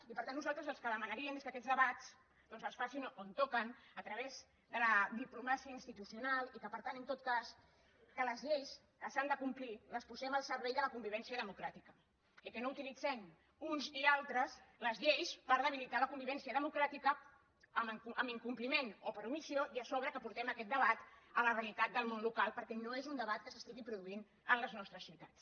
i per tant nosaltres el que demanaríem és que aquests debats es facin on toquen a través de la diplomàcia institucional i que per tant en tot cas les lleis que s’han de complir les posem al servei de la convivència democràtica i que no utilitzem uns i altres les lleis per debilitar la convivència democràtica amb incompliment o per omissió i a sobre que portem aquest debat a la realitat del món local perquè no és un debat que es produeixi en les nostres ciutats